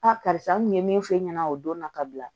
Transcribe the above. Aa karisa n kun ye min f'e ɲɛna o don na ka bila